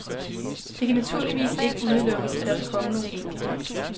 Det kan naturligvis ikke udelukkes, at der vil komme nogle enkelte.